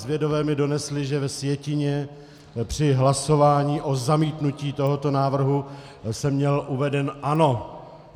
Zvědové mi donesli, že ve sjetině při hlasování o zamítnutí tohoto návrhu jsem měl uvedeno ano.